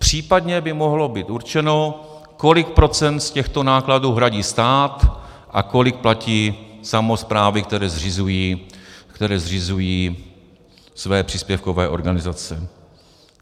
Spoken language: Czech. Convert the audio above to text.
Případně by mohlo být určeno, kolik procent z těchto nákladů hradí stát a kolik platí samosprávy, které zřizují své příspěvkové organizace.